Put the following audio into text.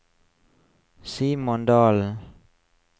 Simon Dalen